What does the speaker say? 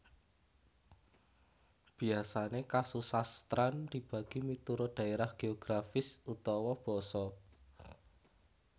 Biasane kasusastran dibagi miturut daerah geografis utawa basa